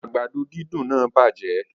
Agbado didùn naa bajẹ